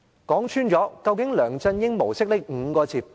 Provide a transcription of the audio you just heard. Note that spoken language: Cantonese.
究竟甚麼是"梁振英模式"呢？